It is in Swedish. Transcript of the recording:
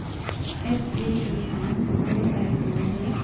S V E N O L O V